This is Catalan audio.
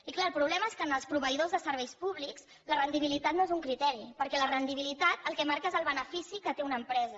i clar el problema és que en els proveïdors de serveis públics la rendibilitat no és un criteri perquè la rendibilitat el que marca és el benefici que té una empresa